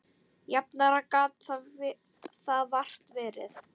Jafnara gat það vart verið.